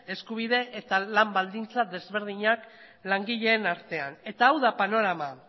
eskubide eta lan baldintzak ezberdinak langileen artean eta hau da panorama